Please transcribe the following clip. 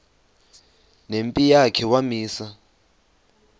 nempi yakhe wamisa